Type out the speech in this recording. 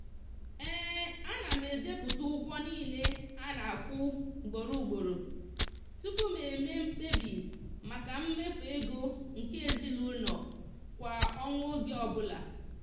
ana m edepụta ụgwọ niile a na-akwụ ugboro ugboro tupu m mee mkpebi maka mmefu ego nke ezinụụlọ kwa ọnwa oge ọbụla.